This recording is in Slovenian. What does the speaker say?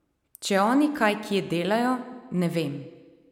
Če oni kaj kje delajo, ne vem.